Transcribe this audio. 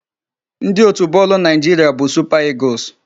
Ndị otu bọọlụ Naịjiria bụ Super Eagles.